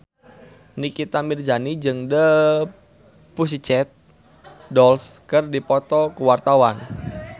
Nikita Mirzani jeung The Pussycat Dolls keur dipoto ku wartawan